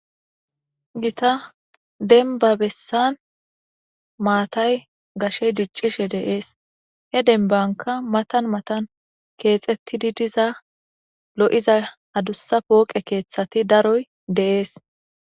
gita denba bessan maatay gashey diccishe deees he denbanka matan matan keexettidi diza lo7iza hadussa pooqe keeththati daroy deees